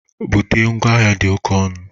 Bute ngwa ahịa dị oke ọnụ!